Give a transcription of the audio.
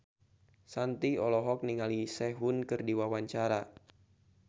Shanti olohok ningali Sehun keur diwawancara